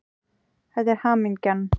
Þetta er hamingjan.